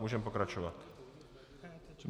Můžeme pokračovat.